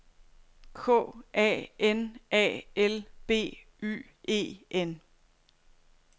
K A N A L B Y E N